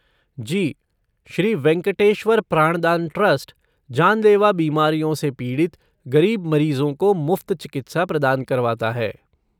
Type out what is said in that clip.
जी, Shri Venkateshwara Prandan trust, जानलेवा बीमारियों से पीड़ित गरीब मरीजों को मुफ्त चिकित्सा प्रदान करवाता है।